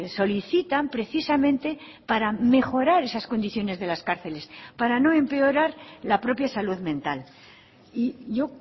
solicitan precisamente para mejorar esas condiciones de las cárceles para no empeorar la propia salud mental y yo